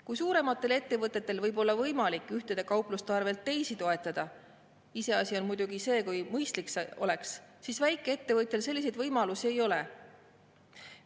Kui suurematel ettevõtetel võib olla võimalik ühe kaupluse arvel teist toetada – iseasi on muidugi see, kui mõistlik see oleks –, siis väikeettevõtjal selliseid võimalusi ei ole.